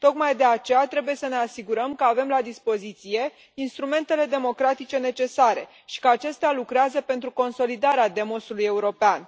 Tocmai de aceea trebuie să ne asigurăm că avem la dispoziție instrumentele democratice necesare și că acestea lucrează pentru consolidarea demersului european.